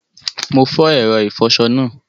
Mo fo èro ìfoso náà